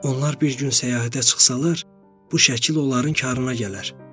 Onlar bir gün səyahətə çıxsalar, bu şəkil onların karına gələr.